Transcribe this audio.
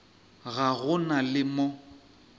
ga go na le mo